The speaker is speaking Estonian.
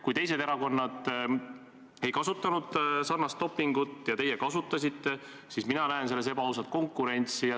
Kui teised erakonnad ei kasutanud sarnast dopingut ja teie kasutasite, siis mina näen selles ebaausat konkurentsi.